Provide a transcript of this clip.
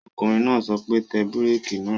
Ọkùnrin náà sọ pé, Tẹ bírèkì náà!